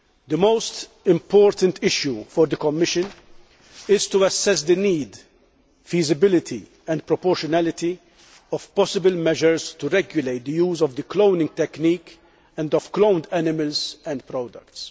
The most important issue for the Commission is to assess the need, feasibility and proportionality of possible measures to regulate the use of the cloning technique and of cloned animals and products.